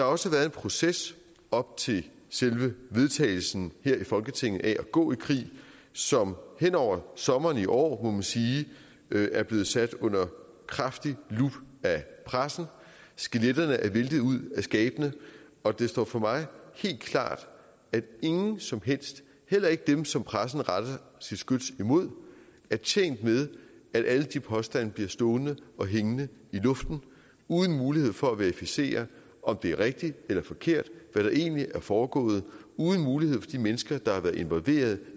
også været en proces op til selve vedtagelsen her i folketinget af at gå i krig som hen over sommeren i år må man sige er blevet sat under kraftig lup af pressen skeletterne er væltet ud af skabene og det står for mig helt klart at ingen som helst heller ikke dem som pressen retter sit skyts imod er tjent med at alle de påstande bliver stående og hængende i luften uden mulighed for at verificere om det er rigtigt eller forkert hvad der egentlig er foregået uden mulighed for de mennesker der har været involveret